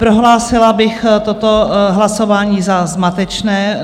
Prohlásila bych toto hlasování za zmatečné.